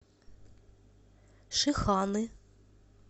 шиханы